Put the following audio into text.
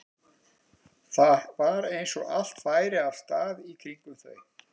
Það var eins og allt færi af stað í kringum þau.